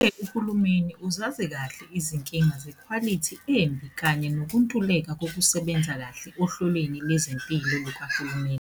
Uhulumeni uzazi kahle izinkinga zekhwalithi embi kanye nokuntuleka kokusebenza kahle ohlelweni lwezempilo lukahulumeni.